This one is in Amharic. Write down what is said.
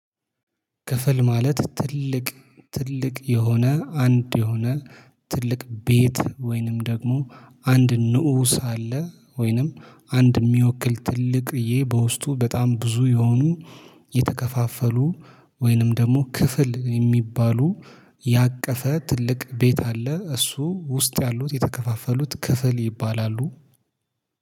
ክፍል ማለት ትልቅ ትልቅ የሆነ አንድ የሆነ ትልቅ ቤት ወይንም ደግሞ አንድ ንዑስ አለ ወይንም አንድ የሚወክል ትልቅ ይሄ በውስጡ በጣም ብዙ የሆኑ የተከፋፈሉ ወይንም ደግሞ ክፍል የሚባሉ ያቀፈ ትልቅ ቤት አለ። እሱ ውስጥ ያሉት የተከፋፈሉት ክፍል ይባላሉ።